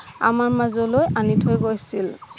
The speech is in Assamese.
আমাৰ মাজলৈ আনি থৈ গৈছিল